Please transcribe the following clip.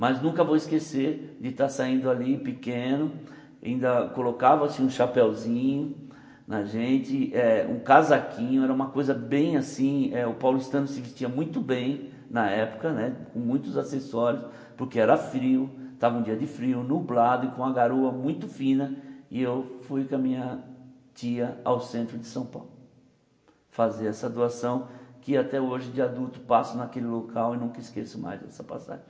mas nunca vou esquecer de estar saindo ali pequeno, ainda colocava-se um chapéuzinho na gente, eh um casaquinho, era uma coisa bem assim eh, o paulistano se vestia muito bem na época né, com muitos acessórios, porque era frio, estava um dia de frio, nublado e com uma garoa muito fina, e eu fui com a minha tia ao centro de São Paulo, fazer essa doação, que até hoje de adulto passo naquele local e nunca esqueço mais essa passagem.